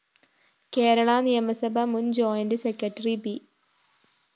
കേരളാ നിയമസഭാ മുന്‍ joint secretary B